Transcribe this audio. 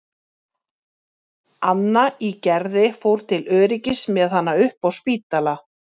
Anna í Gerði fór til öryggis með hana upp á Spítala.